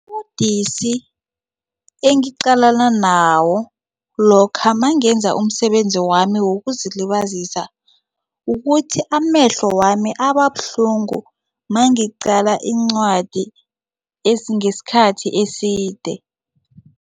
Ubudisi engiqalana nawo lokha nangenza umsebenzi wami wokuzilibazisa ukuthi amehlo wami ababuhlungu mangicala incwadi ngesikhathi eside.